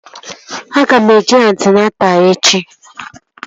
Aga m eje antịnata echi